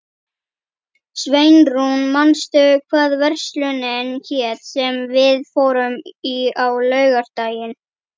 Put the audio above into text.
Sveinrún, manstu hvað verslunin hét sem við fórum í á laugardaginn?